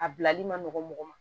A bilali ma nɔgɔn mɔgɔ ma